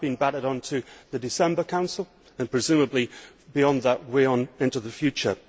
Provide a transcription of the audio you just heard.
It has now been batted on to the December Council and presumably beyond that, way on into the future.